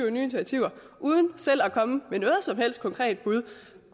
initiativer uden selv at komme med noget som helst konkret bud